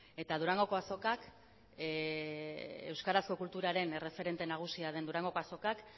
eta durangoko azokak euskarazko kulturaren erreferente nagusia den durangoko azokak